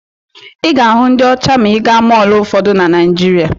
Ị ga-ahụ ndị ọcha ma ị gaa mọọlụ ụfọdụ dị na Naijiria.